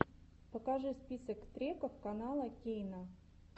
покажи список треков канала кейна